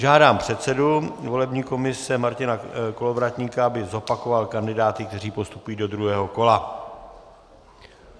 Žádám předsedu volební komise Martina Kolovratníka, aby zopakoval kandidáty, kteří postupují do druhého kola.